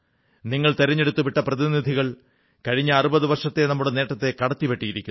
നിങ്ങൾ തിരഞ്ഞെടുത്തു വിട്ട പ്രതിനിധികൾ കഴിഞ്ഞ 60 വർഷത്തെ നമ്മുടെ നേട്ടത്തെ കടത്തിവെട്ടിയിരിക്കുന്നു